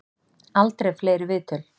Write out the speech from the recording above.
Aldrei fleiri viðtöl